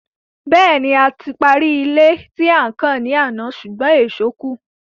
Bẹ́ẹ̀ni, a ti parí ilé tí à ń kàn ní àná ṣùgbọ́n ìṣó kù.